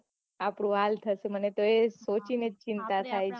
આપડું આલ થતું મને તો એ સૌથી ને એ ચિંતા થાય છે